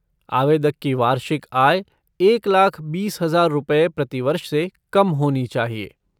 आवेदक की वार्षिक आय एक लाख बीस हजार रुपये प्रति वर्ष से कम होनी चाहिए।